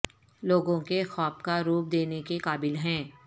لوگوں کے خواب کا روپ دینے کے قابل ہیں